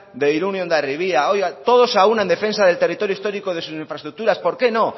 de irun y de hondarribia oiga todos a una en defensa del territorio histórico y de infraestructuras por qué no